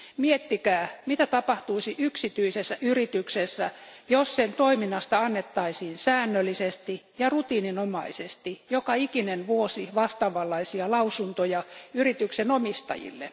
Miettikää, mitä tapahtuisi yksityisessä yrityksessä, jos sen toiminnasta annettaisiin säännöllisesti ja rutiininomaisesti joka ikinen vuosi vastaavanlaisia lausuntoja yrityksen omistajille.